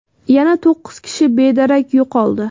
yana to‘qqiz kishi bedarak yo‘qoldi.